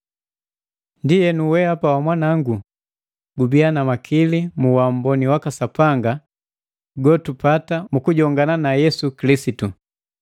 Ndienu, wehapa wamwanangu, gubiya na makili mu uamboni waka Sapanga gotupata mu kujongana na Yesu Kilisitu.